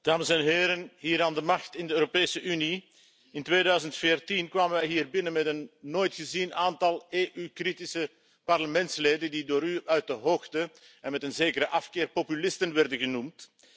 Voorzitter, dames en heren, hier aan de macht in de Europese Unie, in 2014 kwamen wij hier binnen met een nooit gezien aantal EU kritische parlementsleden die door u uit de hoogte en met een zekere afkeer populisten werden genoemd.